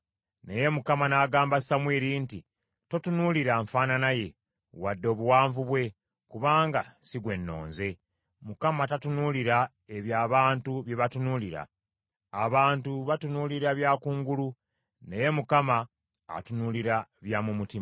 Naye Mukama n’agamba Samwiri nti, “Totunuulira nfaanana ye wadde obuwanvu bwe, kubanga si gwe nnonze. Mukama tatunuulira ebyo abantu bye batunuulira. Abantu batunuulira bya kungulu naye Mukama atunuulira bya mu mutima.”